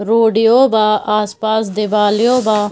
Road ई यो बा आसपास दिवाल ई यो बा।